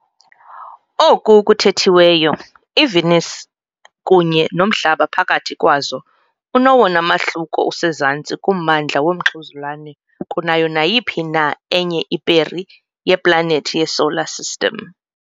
Oko kuthethiweyo, iVenus kunye noMhlaba phakathi kwazo unowona mahluko usezantsi kumandla womxhuzulane kunayo nayiphi na enye iperi yeplanethi yeSolar System.